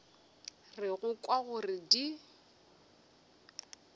re go kwa gore di